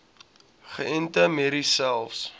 geënte merries selfs